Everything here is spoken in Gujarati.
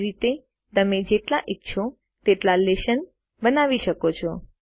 એ જ રીતે તમે જેટલા ઈચ્છો તેટલા લેશન બનાવી શકો છો